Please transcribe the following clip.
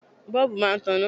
Bọ́ọ̀bù máa taná.